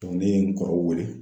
ne ye n kɔrɔw wele.